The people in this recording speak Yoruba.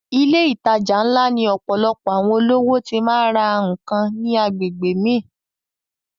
Ilé ìtajà ńlá ni ọ̀pọ̀lọpọ̀ àwọn olówó ti má ń ra nǹkan ní agbègbè mi